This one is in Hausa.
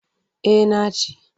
Eh na ci.